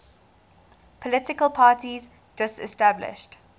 political parties disestablished